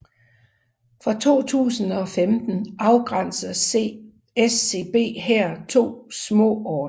Fra 2015 afgrænser SCB her to småorter